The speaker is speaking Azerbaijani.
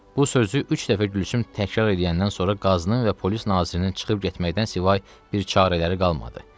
Bu sözü üç dəfə Gülsüm təkrar eləyəndən sonra qazının və polis nazirinin çıxıb getməkdən savayı bir çarələri qalmadı.